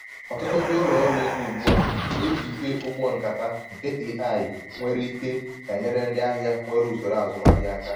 ọtụtụ ndị ụlọ ọrụ ọrụ ego ugbu a na-ejị ike ụgbọ nkata nke ai-nyere ike enyere ndị ahịa nwere usoro azumahịa aka